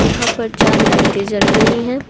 यहां पर चार लाइटें जल रही है।